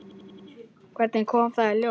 Hvernig kom það í ljós?